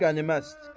Dəm qənimətdir.